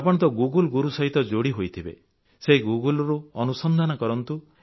ଆପଣ ତ ଏକ୍ଟକ୍ଟଶକ୍ଷର ଗୁରୁ ସହିତ ଯୋଡ଼ି ହୋଇଥିବେ ସେହି Googleରୁ ଅନୁସନ୍ଧାନ କରନ୍ତୁ